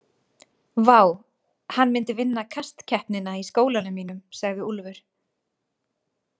Vá, hann myndi vinna kastkeppnina í skólanum mínum, sagði Úlfur.